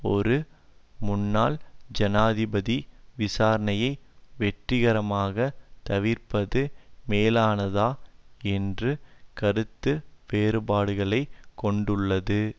ஒரு முன்னாள் ஜனாதிபதி விசாரணையை வெற்றிகரமாக தவிர்ப்பது மேலானதா என்று கருத்து வேறுபாடுகளை கொண்டுள்ளது